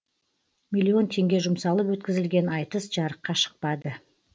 миллион теңге жұмсалып өткізілген айтыс жарыққа шықпады